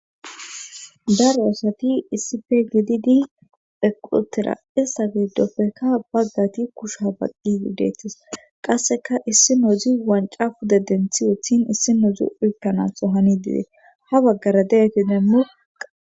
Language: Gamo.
daro asati issife gididi phequlotera issa gidopfekka baggati kushuha baqqi yudetis qasseka issi noodzi wanca puda denthi wuthin issi nodzu ulkkanastso hani dide ha baggara de7etinem muq